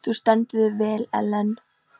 Þú stendur þig vel, Ellen!